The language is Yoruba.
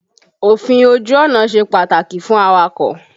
Òfin ojú ọ̀nà ṣe pàtàkì fún awakọ̀.